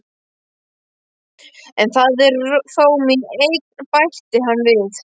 En það er þó mín eign, bætti hann við.